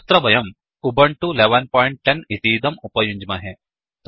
अत्र वयम् उबुन्तु 1110उबण्टु १११० इतीदं उपयुञ्ज्महे